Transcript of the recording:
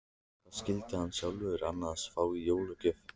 Hvað skyldi hann sjálfur annars fá í jólagjöf?